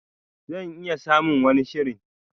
Zan iya samun wani shirin.